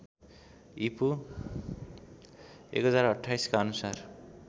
ईपू १०२८ का अनुसार